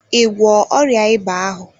Ị gwọọ ọrịa ịba ahụ?